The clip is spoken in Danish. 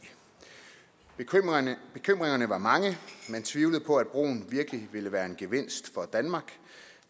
bekymringerne var mange og man tvivlede på at broen virkelig ville være en gevinst for danmark